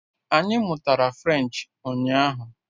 Anyị mụtara French ụnyaahụ